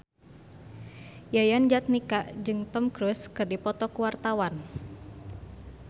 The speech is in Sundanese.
Yayan Jatnika jeung Tom Cruise keur dipoto ku wartawan